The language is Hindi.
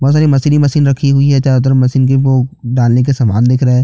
बहोत सारी मशीन ही मशीन रखी हुवी है चारो तरफ मशीन का वो डालने का सामना दिख रहा है।